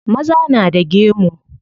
Maza na da gemu.